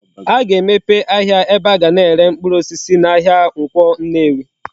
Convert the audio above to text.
A ga-emepe ahia ebe aga na ere mkpuru osisi na ahia Nkwo Nnewi